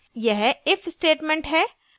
यह if statement है